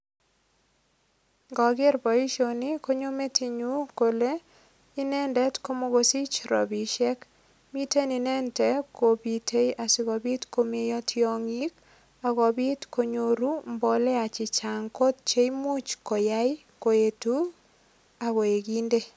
Ngoker boisioni konyo metinyu kole inendet ko mokosich ropisiek. Miten inendet kopitei asigopit komeiyo tiongik ak kopit konyoru mbolea che chang kot che imuch koyai koetu agoekinde.